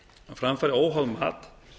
fram fari óháð mat